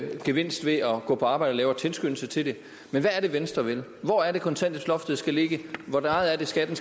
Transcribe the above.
gevinst ved at gå på arbejde lavere tilskyndelse til det men hvad er det venstre vil hvor er det kontanthjælpsloftet skal ligge hvor meget skal